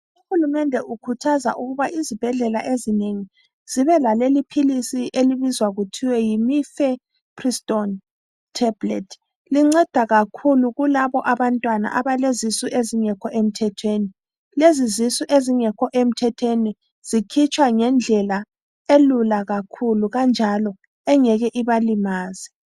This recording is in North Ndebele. Uhulumende ukhuthaza ukuba izibhedlela ezinengi zibelaleli phisili elibizwa kuthwa yimifepristoni theblethi. Linceda kakhulu kulabobantwana abalezisu ezingekho emthethweni. Lezizisu ezingekho emthethweni zikhitshwa ngendlela elula kakhulu kanjalo engeke ibalimaze.